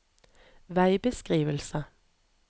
veibeskrivelse